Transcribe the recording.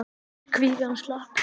Kvígan slapp.